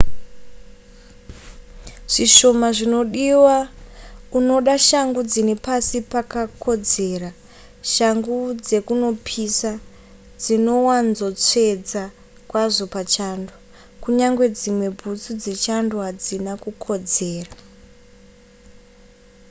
zvishoma zvinodiwa unoda shangu dzine pasi pakakodzera shangu dzekunopisa dzinowanzotsvedza kwazvo pachando kunyangwe dzimwe bhutsu dzechando hadzina kukodzera